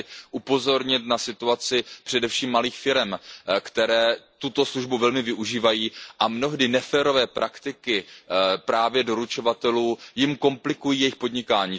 Já chci upozornit na situaci především malých firem, které tuto službu velmi využívají a na mnohdy neférové praktiky právě doručovatelů, které jim komplikují jejich podnikání.